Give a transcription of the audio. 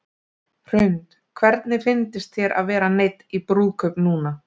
Hrund: Hvernig fyndist þér að vera neydd í brúðkaup núna?